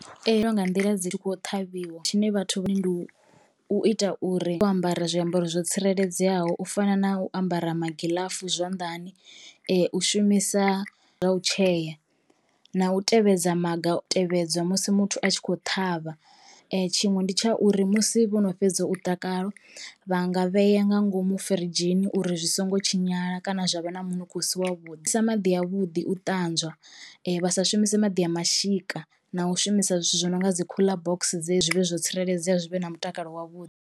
nḓila dzi tshi kho ṱhavhiwa tshine vhathu vha.... ndi u ita uri wo ambara zwiambaro zwo tsireledzeaho u fana na u ambara magiḽafu zwanḓani u shumisa zwa u tshea na u tevhedza maga u tevhedza musi muthu a tshi kho ṱhavha tshiṅwe ndi tsha uri musi vhono fhedza u vha nga vhea nga ngomu firidzhini uri zwi songo tshinyala kana zwa vha na munukho u si wavhuḓi sa maḓi a vhuḓi u ṱanzwa vha sa shumise maḓi a mashika na u shumisa zwithu zwi no nga dzi cooler box dze zwi vhe zwo tsireledzea zwi vhe na mutakalo wavhuḓi.